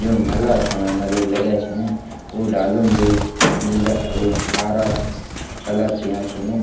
जुन्क भला सोणा नारियल लग्याँ छिन उ डालू म भी नीला उ हारा कलर कियां छिन।